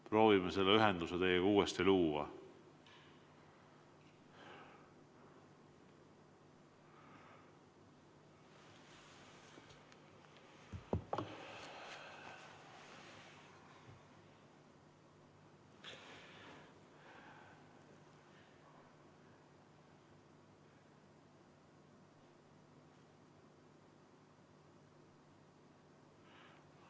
Proovime selle ühenduse teiega uuesti luua.